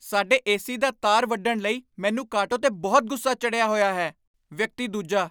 ਸਾਡੇ ਏਸੀ ਦਾ ਤਾਰ ਵੱਢਣ ਲਈ ਮੈਨੂੰ ਕਾਟੋ 'ਤੇ ਬਹੁਤ ਗੁੱਸਾ ਚੜ੍ਹਿਆ ਹੋਇਆ ਹੈ ਵਿਅਕਤੀ ਦੂਜਾ